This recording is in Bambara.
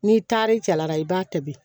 N'i taar'i cɛla la i b'a tobi